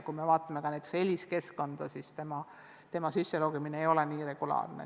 Kui me vaatame näiteks ELIIS-i keskkonda, siis näeme, et sinna ei logita sisse regulaarselt.